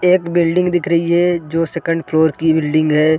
एक बिल्डिंग दिख रही है जो सेकंड फ्लोर की बिल्डिंग है।